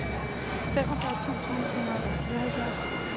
femogfyrre tusind ni hundrede og fireoghalvfjerds